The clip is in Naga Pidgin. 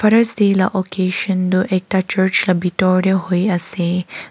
Father's day la ocassion toh ekta church la bethor dae hoi ase.